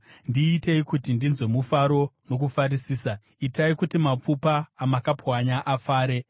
Ndiitei kuti ndinzwe mufaro nokufarisisa; itai kuti mapfupa amakapwanya afare.